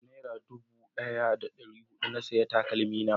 da nera dubu daya da dari hudu na saya takalmi na